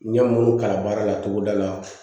N ye munnu kalan baara la togoda la